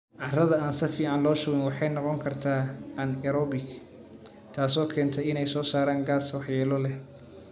Carrada aan si fiican loo shubin waxay noqon kartaa anaerobic, taasoo keenta inay soo saaraan gaas waxyeello leh.